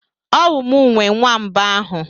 Ọwu mụ nwe nwamba ahụ?